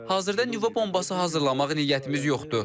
Hazırda nüvə bombası hazırlamaq niyyətimiz yoxdur.